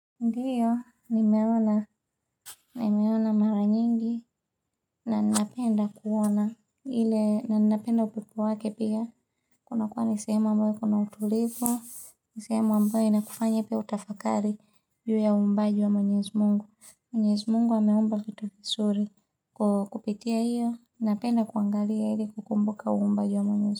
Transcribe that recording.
Ndiyo, nimeona, nimeona mara nyingi. Na ninapenda kuona. Ile, na ninapenda upepo wake pia. Kunakuwa ni sehemu ambayo kuna utulivu. Ni sehemu ambaye inakufanya pia utafakari. Juu ya uumbaji wa mwenyezi mungu. Mwenyezi mungu ameomba kitu kizuri. Kupitia iyo, napenda kuangalia ili kukumbuka uumbaji wa mwenyezi mungu.